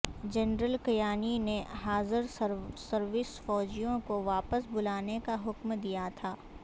general Kayani نے حاضرسروس فوجیوں کو واپس بلانے کا حکم دیا تھا